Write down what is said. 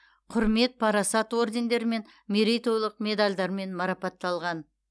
құрмет парасат ордендерімен мерейтойлық медальдармен марапатталған